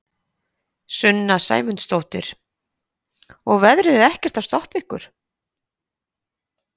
Sunna Sæmundsdóttir: Og veðrið er ekkert að stoppa ykkur?